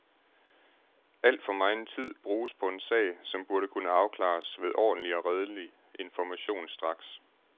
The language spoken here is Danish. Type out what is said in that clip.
Al for megen tid bruges på en sag, som burde kunne afklares ved ordentlig og redelig information straks.